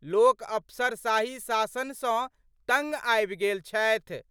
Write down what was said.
लोक अफसरशाही शासन स तंग आबि गेल छथि।